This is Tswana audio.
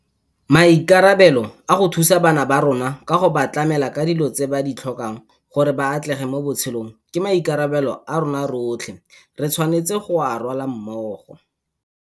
Maikarabelo a go thusa bana ba rona ka go ba tlamela ka dilo tse ba di tlhokang gore ba atlege mo botshelong ke maikarabelo a rotlhe re tshwanetseng go a rwala mmogo.